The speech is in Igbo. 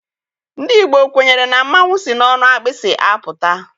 Ndị Igbo kwenyere na mmanwụ si n'ọnụ agbịsị apụta.